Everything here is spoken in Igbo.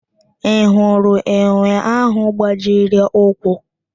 Ị hụrụ enwe ahụ gbajiri ụkwụ?